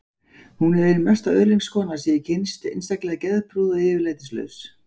Hún er ein mesta öðlingskona sem ég hef kynnst, einstaklega geðprúð og yfirlætislaus.